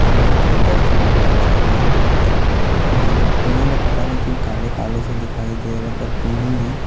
बहुत सारे है और यहाँ पे पेड़ पता नहीं क्यों काले-काले से दिखाई दे रहे है पर है।